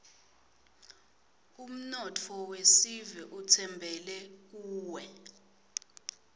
umnotfo wesive utsembele kuwe